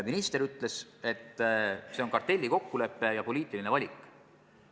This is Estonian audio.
Minister ütles, et see on kartellikokkulepe ja poliitiline valik.